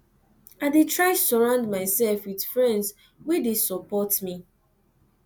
i dey try surround mysef wit friends wey dey support me